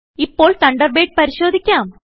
ഇപ്പോൾ തണ്ടർബേഡ് പരിശോധിക്കാം